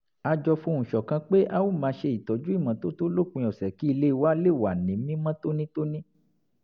a jọ fohùn ṣọ̀kan pé a ó máa ṣe ìmọ́tótó lópin ọ̀sẹ̀ kí ilé wa lè wà ní mímọ́ tónítóní